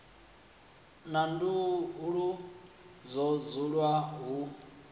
na nḓuhu ho dzulwa hu